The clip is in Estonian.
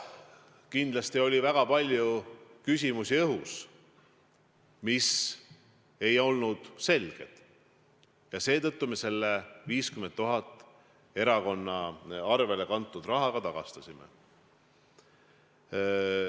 Kindlasti oli õhus väga palju küsimusi, mis ei olnud selged, ja seetõttu me selle 50 000 eurot erakonna arvele kantud raha ka tagastasime.